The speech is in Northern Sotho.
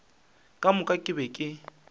ka moka ke be ke